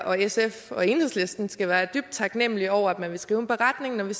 og sf og enhedslisten skal være dybt taknemlige over at man vil skrive en beretning når vi